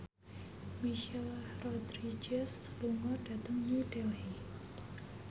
Michelle Rodriguez lunga dhateng New Delhi